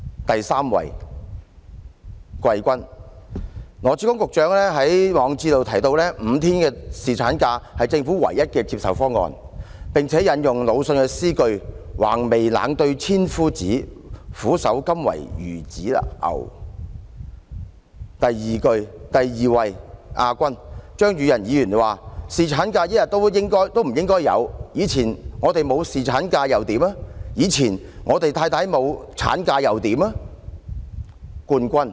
第三位季軍，見於羅致光局長的網誌，他提到5天侍產假是政府唯一接受的方案，並且引用魯迅的詩句"橫眉冷對千夫指，俯首甘為孺子牛"形容；第二位亞軍，是張宇人議員說的"侍產假一日也不應該有，我們以往沒有侍產假又如何，以往我們的太太沒有產假又如何？